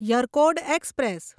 Yercaud express